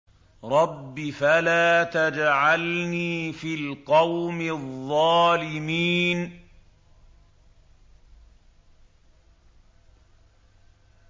رَبِّ فَلَا تَجْعَلْنِي فِي الْقَوْمِ الظَّالِمِينَ